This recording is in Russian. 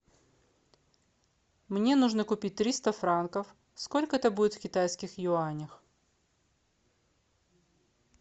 мне нужно купить триста франков сколько это будет в китайских юанях